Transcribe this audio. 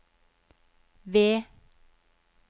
V